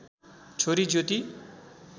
छोरी ज्योति